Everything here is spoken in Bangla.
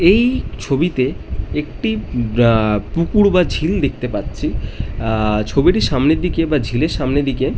এই ছবিতে একটি বা পুকুর বা ঝিল দেখতে পারছি। আ ছবিটির সামনের দিকে বা ঝিল এর সামনের দিকে--